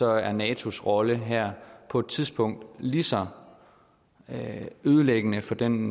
er natos rolle her på et tidspunkt lige så ødelæggende for den